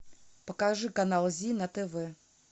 покажи канал зи на тв